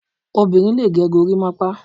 Obinrin lè gẹ gorimapa